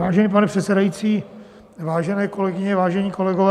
Vážený pane předsedající, vážené kolegyně, vážení kolegové.